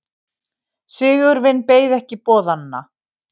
Sigurvin beið ekki boðanna.